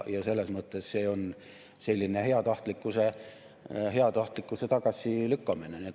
Ja selles mõttes see on selline heatahtlikkuse tagasilükkamine.